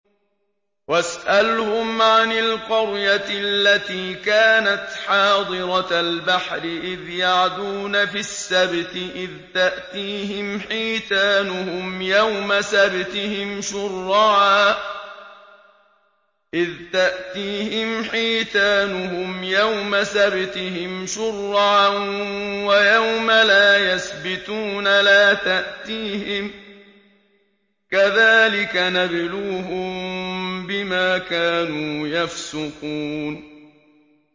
وَاسْأَلْهُمْ عَنِ الْقَرْيَةِ الَّتِي كَانَتْ حَاضِرَةَ الْبَحْرِ إِذْ يَعْدُونَ فِي السَّبْتِ إِذْ تَأْتِيهِمْ حِيتَانُهُمْ يَوْمَ سَبْتِهِمْ شُرَّعًا وَيَوْمَ لَا يَسْبِتُونَ ۙ لَا تَأْتِيهِمْ ۚ كَذَٰلِكَ نَبْلُوهُم بِمَا كَانُوا يَفْسُقُونَ